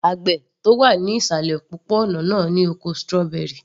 Àgbẹ̀ tó wà ní ìsàlẹ̀ òpópó-ònà náà ní oko strawberry